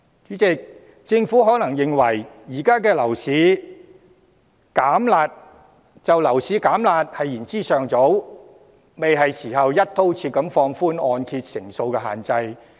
主席，政府可能認為現時推出樓市"減辣"措施言之尚早，還不是時候"一刀切"放寬按揭成數限制。